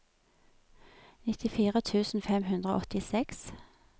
nittifire tusen fem hundre og åttiseks